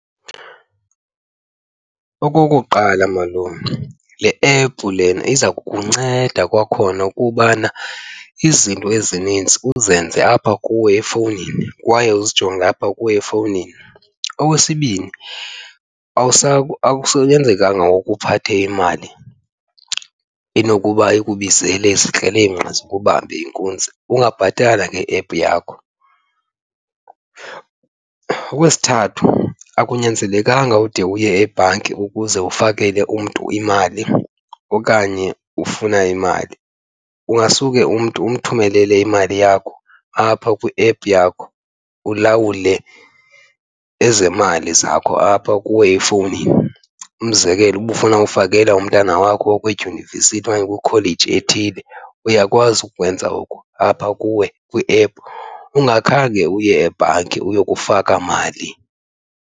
Okokuqala malume, le ephu lena iza kukunceda kwakhona ukubana izinto ezininzi uzenze apha kuwe efowunini kwaye uzijonge apha kuwe efowunini. Okwesibini akusanyanzelekanga ngoku uphathe imali inokuba ikubizele izikrelemnqa zikubambe inkunzi ungabhatala ngeephu yakho. Okwesithathu akunyanzelekanga ude uye ebhanki ukuze ufakele umntu imali okanye ufuna imali, ungasuke umntu umthumelele imali yakho apha kwiephu yakho ulawule ezemali zakho apha kuwe efowunini. Umzekelo uba ufuna ufakela umntana wakho okwidyunivesithi okanye kwikholeji ethile uyakwazi ukwenza oku apha kuwe kwiephu ungakhange uye ebhanki uyokufaka mali.